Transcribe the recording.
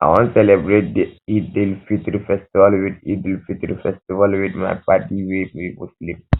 i wan celebrate di eidelfitri festival wit eidelfitri festival wit my paddy wey be muslim